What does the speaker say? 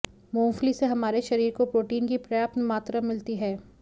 मूंगफली से हमारे शरीर को प्रोटीन की पर्याप्त मात्रा मिलती है